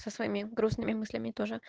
со своими грустными мыслями тоже